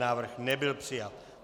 Návrh nebyl přijat.